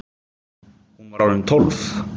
Hún var orðin tólf!